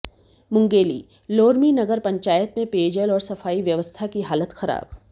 मुंगेलीः लोरमी नगर पंचायत में पेयजल और सफाई व्यवस्था की हालत खराब